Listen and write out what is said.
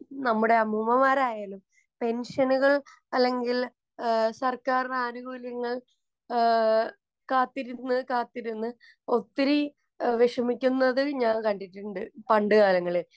നമ്മുടെ അമ്മൂമ്മമാരായാലും, പെന്‍ഷനുകള്‍, അല്ലെങ്കില്‍ സര്‍ക്കാരിന്‍റെ ആനുകൂല്യങ്ങള്‍ കാത്തിരുന്നു കാത്തിരുന്നു ഒത്തിരി വിഷമിക്കുന്നതും ഞാന്‍ കണ്ടിട്ടുണ്ട് പണ്ട് കാലങ്ങളില്‍.